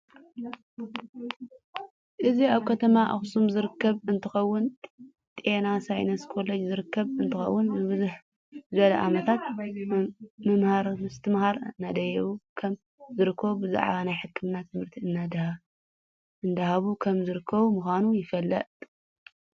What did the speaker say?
እዚ ኣብ ከተማ ኣክሱም ዝርከብ እንትከውን ጤና ሳይነስ ኮለጅ ዝርከብ እ ንትከውን ንብዝሕ ዝበለ ዓመታት ምምሃርምስትመሃር እዳሃበ ከም ዝርከብ ብዛዕባ ናይ ሕክምና ትምህርት እዳሃበ ከም ዝርከብ ምካኑ ይፍለጥ።